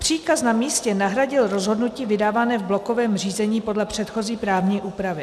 Příkaz na místě nahradil rozhodnutí vydávané v blokovém řízení podle předchozí právní úpravy.